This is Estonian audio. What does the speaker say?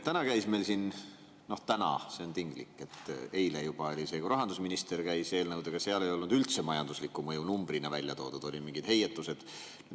Täna käis meil siin – noh, täna on tinglik, eile oli see juba – rahandusminister eelnõudega, seal ei olnud üldse majanduslikku mõju numbrina välja toodud, olid mingid heietused.